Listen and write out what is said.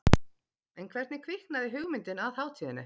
En hvernig kviknaði hugmyndin að hátíðinni?